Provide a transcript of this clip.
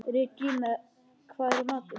Regína, hvað er í matinn?